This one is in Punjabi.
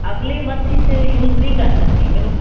ਅਗਲੇ month ਵਿੱਚ use ਨਹੀ ਕਰ ਸਕਦੀ ਮੈਨੂੰ